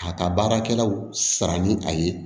A ka baarakɛlaw sara ni a ye